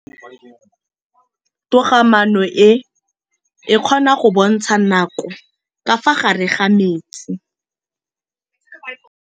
Toga-maanô e, e kgona go bontsha nakô ka fa gare ga metsi.